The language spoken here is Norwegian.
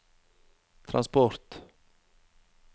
transport